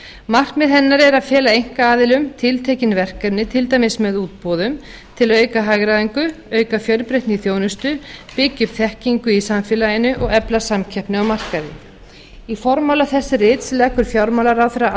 markmið hennar er að fela einkaaðilum tiltekin verkefni til dæmis með útboðum til að auka hagræðingu auka fjölbreytni í þjónustu byggja upp þekkingu í samfélaginu og efla samkeppni á markaði í formála þess rits leggur fjármálaráðherra